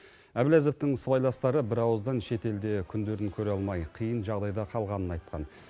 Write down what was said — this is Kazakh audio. әбләзовтің сыбайластары бірауыздан шетелде күндерін көре алмай қиын жағдайда қалғанын айтқан